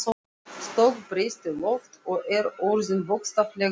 stökkbreyst í loft, og er orðin, bókstaflega, upphafin.